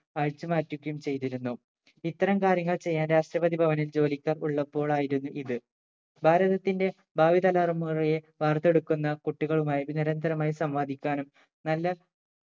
അഴിച്ചു മാറ്റിക്കും ചെയ്തിരുന്നു. ഇത്തരം കാര്യങ്ങൾ ചെയ്യാൻ രാഷ്‌ട്രപതി ഭവനിൽ ജോലിക്കാർ ഉള്ളപ്പോളായിരുന്നു ഇത്. ഭാരതത്തിന്റെ ഭാവി തലറമുറയെ വാർത്തെടുക്കുന്ന കുട്ടികളുമായി നിരന്തരമായി സംവാദിക്കാനും നല്ല